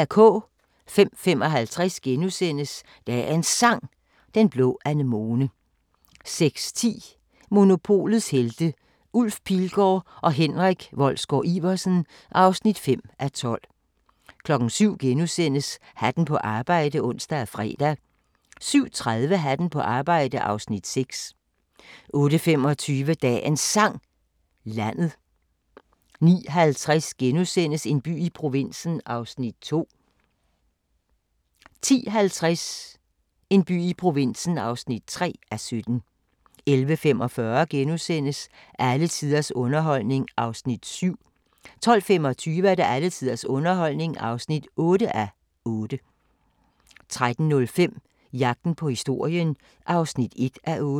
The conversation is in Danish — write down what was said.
05:55: Dagens Sang: Den blå anemone * 06:10: Monopolets Helte – Ulf Pilgaard og Henrik Wolsgaard-Iversen (5:12) 07:00: Hatten på arbejde *(ons og fre) 07:30: Hatten på arbejde (Afs. 6) 08:25: Dagens Sang: Landet 09:50: En by i provinsen (2:17)* 10:50: En by i provinsen (3:17) 11:45: Alle tiders underholdning (7:8)* 12:25: Alle tiders underholdning (8:8) 13:05: Jagten på historien (1:8)